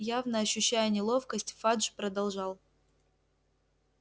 явно ощущая неловкость фадж продолжал